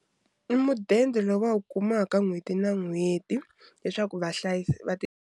I mudende lowu va wu kumaka n'hweti na n'hweti leswaku .